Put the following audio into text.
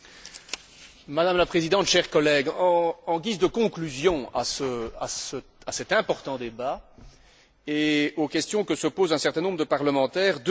Madame la Présidente, chers collègues, en guise de conclusion à cet important débat et aux questions que se posent un certain nombre de parlementaires, deux éléments.